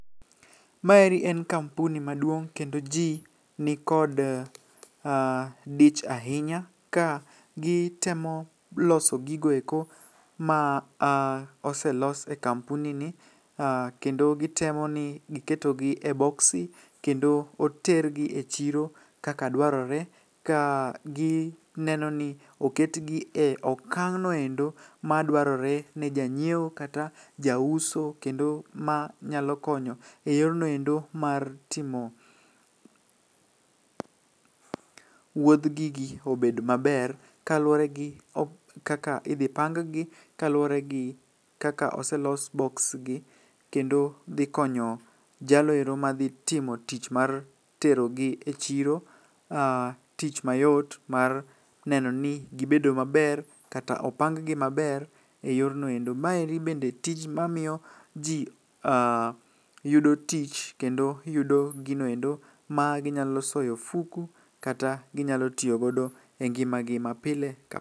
Maeri en kampuni maduong' kendo ji ni kod dich ahinya ka gitemo loso gigoeko ma oselos e kampuni ni. Kendo gitemo ni giketogi e boksi, kendo otergi e chiro kaka dwarore, ka gi neno ni oketgi e okang'noendo ma dwarore ne janyiewo kata jauso. Kendo ma nyalo konyo e yornoendo mar timo wuodh gigi obed maber kaluwore gi kaka idhi pang gi. Kaluwore gi kaka oselos boks gi, kendo dhi konyo jaloero ma dhi timo tich mar tero gi e chiro. Tich mayot mar neno ni gibedo maber, kata opang gi maber e yornoendo. Maeri bende tij mamiyo ji yudo tich kendo yudo ginoendo ma ginyalo soye ofuku kata ginyalo tiyogo e ngima gi ma pile ka.